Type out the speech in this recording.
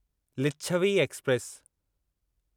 Licchavi express